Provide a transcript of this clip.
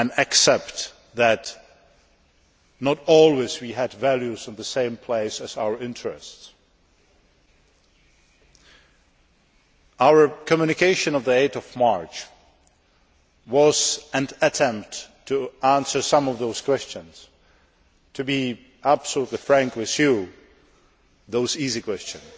accepting that we have not always had the values in the same place as our interests. Our communication of 8 March was an attempt to answer some of those questions to be absolutely frank with you, the easy questions